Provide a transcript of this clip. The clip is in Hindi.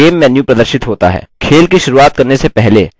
गेम मेन्यू प्रदर्शित होता है